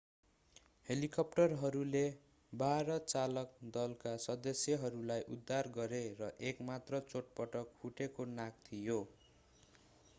हेलिकप्टरहरूले बाह्र चालक दलका सदस्यहरूलाई उद्धार गरे र एक मात्र चोटपटक फुटेको नाक थियो